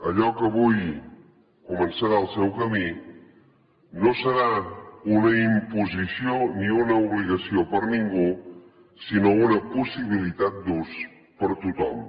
allò que avui començarà el seu camí no serà una imposició ni una obligació per a ningú sinó una possibilitat d’ús per a tothom